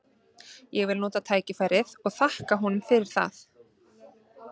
Ég vil nota tækifærið og þakka honum fyrir það.